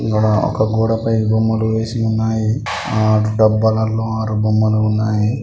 ఇక్కడ ఒక గోడ పై బొమ్మలు ఏసి ఉన్నాయి. ఆ అటు డబ్బాలల్లో ఆరు బొమ్మలు ఉన్నయ్.